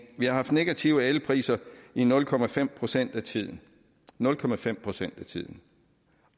vi har haft negative elpriser i nul procent procent af tiden nul procent procent af tiden